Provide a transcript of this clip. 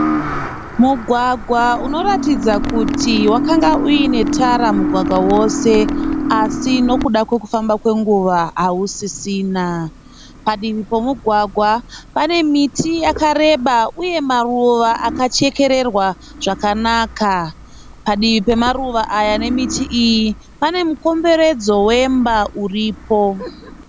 Mugwagwa unoratidza kuti wakanga uine tara mugwagwa wose asi nekuda kwekufamba kwenguva hausisina. Padivi pomugwagwa pane miti yakareba uye maruva akachekererwa zvakanaka. Padivi pemaruva aya nemiti iyi pane mukomberedzo wemba uripo.